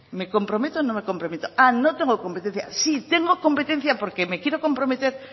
me comprometo o no me comprometo ah no tengo competencias sí tengo competencia porque me quiero comprometer